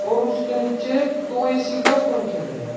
और उसके नीचे दो ए_सी का पंखे धरे हैं।